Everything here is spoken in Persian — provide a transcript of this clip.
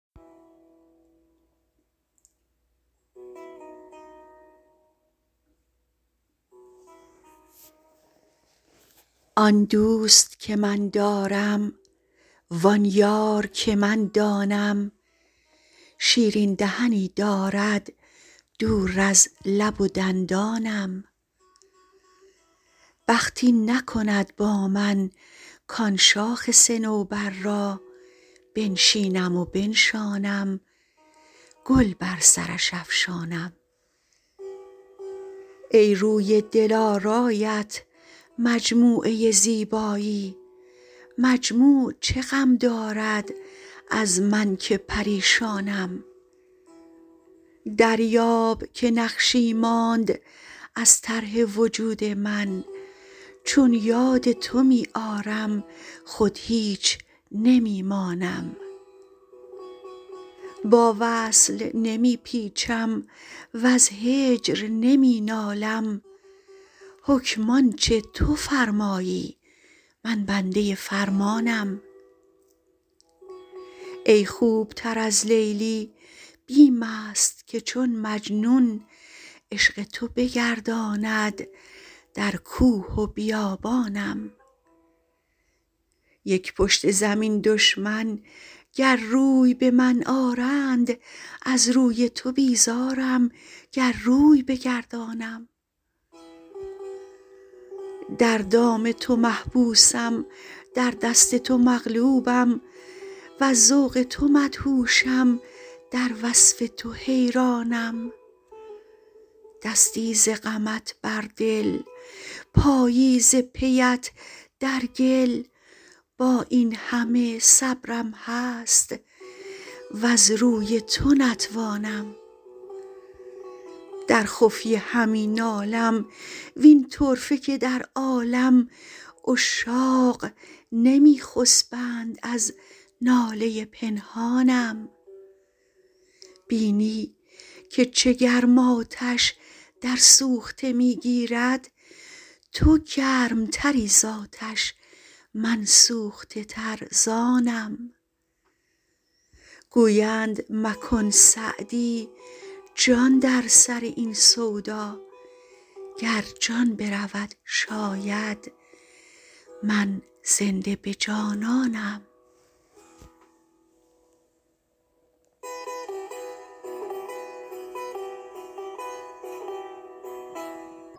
آن دوست که من دارم وآن یار که من دانم شیرین دهنی دارد دور از لب و دندانم بخت این نکند با من کآن شاخ صنوبر را بنشینم و بنشانم گل بر سرش افشانم ای روی دلارایت مجموعه زیبایی مجموع چه غم دارد از من که پریشانم دریاب که نقشی ماند از طرح وجود من چون یاد تو می آرم خود هیچ نمی مانم با وصل نمی پیچم وز هجر نمی نالم حکم آن چه تو فرمایی من بنده فرمانم ای خوب تر از لیلی بیم است که چون مجنون عشق تو بگرداند در کوه و بیابانم یک پشت زمین دشمن گر روی به من آرند از روی تو بیزارم گر روی بگردانم در دام تو محبوسم در دست تو مغلوبم وز ذوق تو مدهوشم در وصف تو حیرانم دستی ز غمت بر دل پایی ز پی ات در گل با این همه صبرم هست وز روی تو نتوانم در خفیه همی نالم وین طرفه که در عالم عشاق نمی خسبند از ناله پنهانم بینی که چه گرم آتش در سوخته می گیرد تو گرم تری زآتش من سوخته تر ز آنم گویند مکن سعدی جان در سر این سودا گر جان برود شاید من زنده به جانانم